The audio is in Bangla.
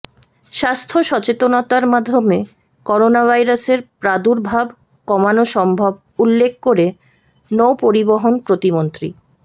স্বাস্থ্য সচেতনতার মাধ্যমে করোনাভাইরাসের প্রাদুর্ভাব কমানো সম্ভব উল্লেখ করে নৌপরিবহন প্রতিমন্ত্রী